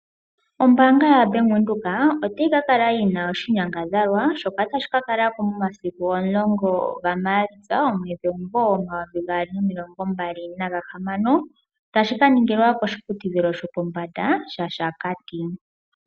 Ombaanga yoBank Windhoek, otayi kakala yi na oshinyangadhalwa, shoka tashi ka kalako momasiku omulongo gaMaalitsa, omwedhi, omumvo omayovi gaali nomilongo mbali naga hamano, tashi kaningilwa koshiputudhilo shopombanda shaShakati.